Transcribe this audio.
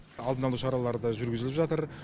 алдын алу шаралары да жүргізіліп жатыр